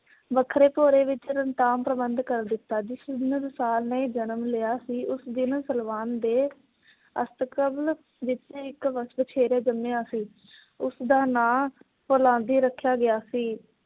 ਵੱਖਰੇ ਭੋਰੇ ਵਿੱਚ ਰਤਾ ਪ੍ਰਬੰਧ ਕਰ ਦਿਤਾ। ਜਿਸ ਦਿਨ ਦੁਸਾਲ ਨੇ ਜਨਮ ਲਿਆ ਸੀ। ਉਸ ਦਿਨ ਨਸਲਵਾਨ ਦੇ ਅਸਤਕਰਨ ਵਿੱਚ ਇੱਕ ਵਛੇਰਾ ਜੰਮਿਆ ਸੀ । ਉਸ ਦਾ ਨਾਂ ਫੁਲਾਦੀ ਰੱਖਿਆ ਗਿਆ ਸੀ।